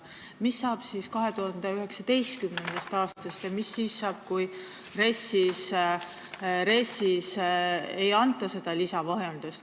Mis saab 2019. aastast ja mis saab siis, kui RES-is ei rahuldata seda lisavajadust?